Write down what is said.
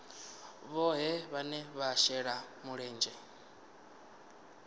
vhohe vhane vha shela mulenzhe